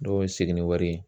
N'o ye segi ni wari ye.